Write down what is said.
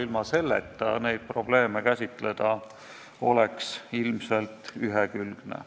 Ilma selleta seda teemat käsitleda oleks ilmselt ühekülgne.